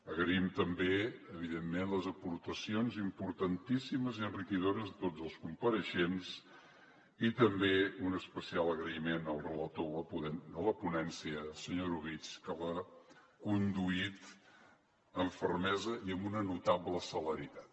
agraïm també evidentment les aportacions importantíssimes i enriquidores de tots els compareixents i també un especial agraïment al relator de la ponència senyor orobitg que l’ha conduït amb fermesa i amb una notable celeritat